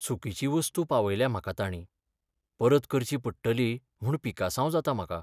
चुकीची वस्तू पावयल्या म्हाका ताणीं. परत करची पडटली म्हूण पिकासांव जाता म्हाका.